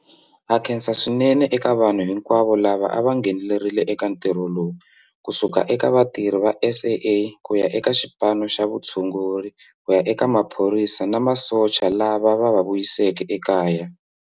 Ha khensa swinene eka vanhu hinkwavo lava a va ngheneleri le eka ntirho lowu, ku suka eka vatirhi va SAA ku ya eka xipano xa vutshunguri ku ya eka maphorisa na masocha lava va va vuyiseke ekaya.